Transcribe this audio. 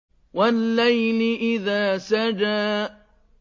وَاللَّيْلِ إِذَا سَجَىٰ